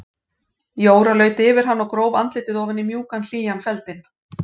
Jóra laut yfir hann og gróf andlitið ofan í mjúkan og hlýjan feldinn.